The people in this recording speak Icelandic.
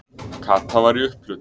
Kata var í upphlut.